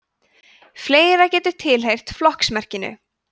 fleira getur tilheyrt flokksmerkinu